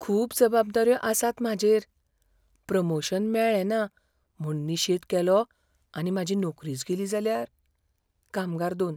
खूब जबाबदाऱ्यो आसात म्हाजेर. प्रमोशन मेळ्ळें ना म्हूण निशेध केलो आनी म्हाजी नोकरीच गेली जाल्यार? कामगार दोन